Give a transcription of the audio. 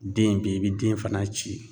Den be yen, i bi den fana ci.